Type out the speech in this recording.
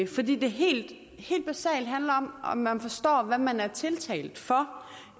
fordi det helt basalt handler om om man forstår hvad man er tiltalt for